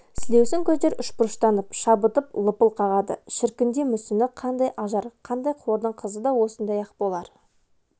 сілеусін көздер үшбұрыштанып шабытпен лыпыл қағады шіркінде мүсіні қандай ажар қандай хордың қызы да осындай-ақ болар